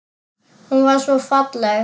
Hún var svo falleg.